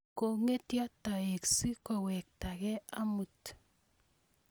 kongetyo toek si kowetake amuut